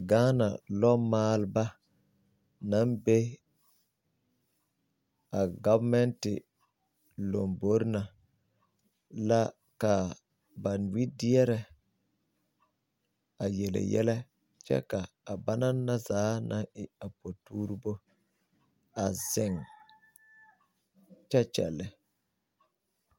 Ghana lɔmaalba naŋ be a gɔvemɛnte lombore na la kaa ba wedeɛrɛ a yele yɛllɛ kyɛ ka a ba naŋ na zaa naŋ e a potuurebo a zeŋ kyɛ kyɛllɛ.